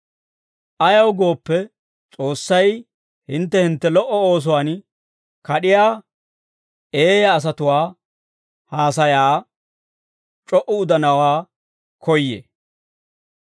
Ayaw gooppe, S'oossay hintte hintte lo"o oosuwaan kad'iyaa eeyaa asatuwaa haasayaa c'o"u udanawaa koyyee.